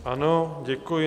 Ano, děkuji.